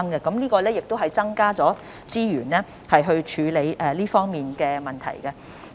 我們已增加資源處理這方面的問題。